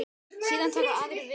Síðan taka aðrir við.